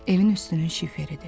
Evin üstünün şiferidir.